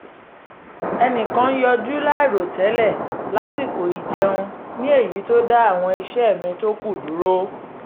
ẹnìkan yọjú láìrò tẹ́lẹ̀ lásìkò ìjẹun ní èyí tó dá àwọn iṣẹ́ mi tó kù dúró